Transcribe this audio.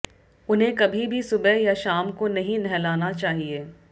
उन्हें कभी भी सुबह या शाम को नहीं नहलाना चाहिए